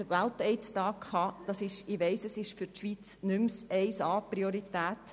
Ich weiss, für die Schweiz hat dieses Thema nicht mehr oberste Priorität.